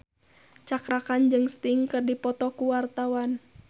Cakra Khan jeung Sting keur dipoto ku wartawan